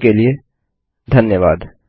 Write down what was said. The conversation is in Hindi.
के लिए धन्यवाद